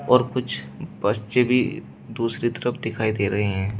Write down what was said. और कुछ बच्चे भी दूसरी तरफ दिखाई दे रहे हैं।